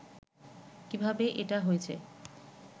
কিভাবে এটা হয়েছে